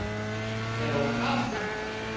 Er of kalt.